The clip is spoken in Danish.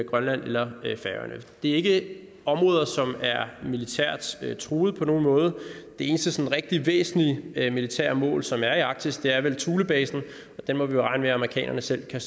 i grønland eller færøerne det er ikke områder som er militært truede på nogen måde det eneste sådan rigtig væsentlige militære mål som er i arktis er vel thulebasen og den må vi jo regne med at amerikanerne selv kan